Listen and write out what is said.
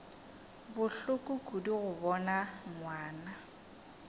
bohloko kudu go bona ngwana